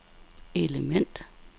element